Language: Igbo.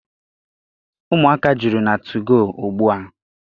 Ụmụaka juru na tugoo ugbua.